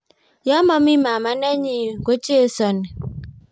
Yamami mama nenyi kochesani.